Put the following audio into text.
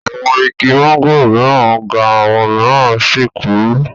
Awọn igi mángòrò mìíràn ga àwọn mìíràn sì kúrú.